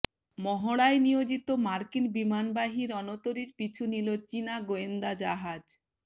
মহড়ায় নিয়োজিত মার্কিন বিমানবাহী রণতরীর পিছু নিল চীনা গোয়েন্দা জাহাজ